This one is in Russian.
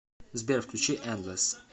сбер включи эндлесс